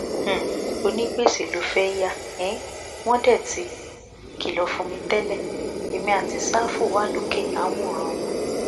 um onígbèsè ló fẹẹ yà um wọn dé tí kìlọ fún mi tẹlẹ èmi àti sáfù wà lókè à ń wòran wọn